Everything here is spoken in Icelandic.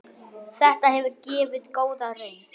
Þetta hefur gefið góða raun.